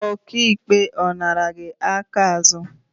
Ọka ikpe, ọ nara gị aka azụ?